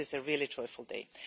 So this is a really joyful day.